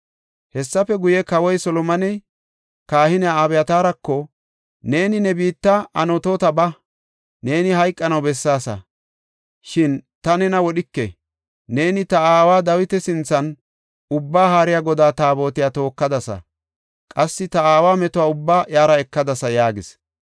Hessafe guye, kawoy Solomoney, kahiniya Abyataarako, “Neeni ne biitta Anatoota ba. Neeni hayqanaw bessaasa, shin ta nena wodhike. Neeni ta aawa Dawita sinthan Ubbaa Haariya Godaa Taabotiya tookadasa; qassi ta aawa metuwa ubbaa iyara ekadasa” yaagis.